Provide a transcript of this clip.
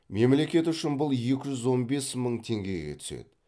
мемлекет үшін бұл екі жүз он бес мың теңгеге түседі